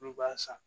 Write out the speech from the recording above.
N'u b'a san